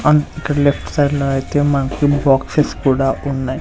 And ఇక్కడ left side లో అయితే మనకి బాక్సెస్ కూడా ఉన్నాయి.